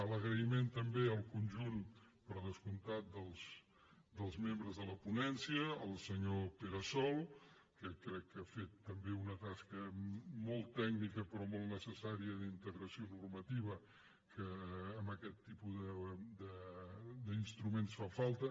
l’agraïment també al conjunt per descomptat dels membres de la ponència al senyor pere sol que crec que ha fet també una tasca molt tècnica però molt necessària d’integració normativa que en aquest tipus d’instruments fa falta